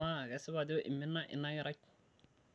amaa kesipa ajo imina ina kerai